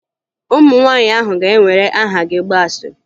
Ụmụ nwaanyị ahụ ga-ewere aha gị gbaa asịrị